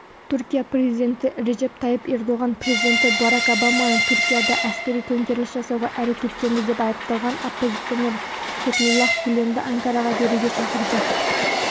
түркия президенті режеп тайып ердоған президенті барак обаманы түркияда әскери төңкеріліс жасауға әрекеттенді деп айыпталған оппозиционер фетхуллах гүленді анкараға беруге шақырды